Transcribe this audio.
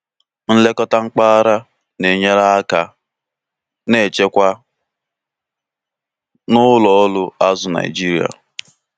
nlekọta mpaghara na-enyere aka na nchekwa na ụlọ ọrụ azụ Naijiria.